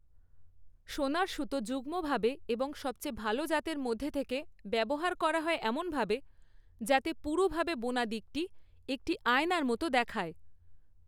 সোনার সুতো যুগ্মভাবে এবং সবচেয়ে ভালো জাতের মধ্যে থেকে ব্যবহার করা হয় এমনভাবে, যাতে পুরুভাবে বোনা দিকটি একটি আয়নার মতো দেখায়।